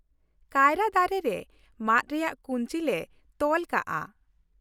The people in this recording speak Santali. ᱠᱟᱭᱨᱟ ᱫᱟᱨᱮ ᱨᱮ ᱢᱟᱫ ᱨᱮᱭᱟᱜ ᱠᱩᱧᱪᱤ ᱞᱮ ᱛᱚᱞ ᱠᱟᱜᱼᱟ ᱾